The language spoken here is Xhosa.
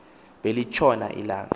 beli tshona ilanga